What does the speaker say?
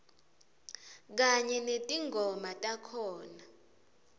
kanye netingoma takhona